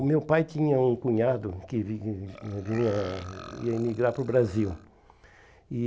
O meu pai tinha um cunhado que vivia que vinha ia imigrar para o Brasil. E